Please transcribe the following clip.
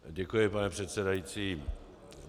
Děkuji, pane předsedající.